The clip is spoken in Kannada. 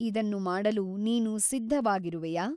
ಇದನ್ನು ಮಾಡಲು ನೀನು ಸಿದ್ಧವಾಗಿರುವೆಯಾ ?